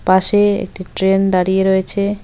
পাশে একটি ট্রেন দাঁড়িয়ে রয়েছে।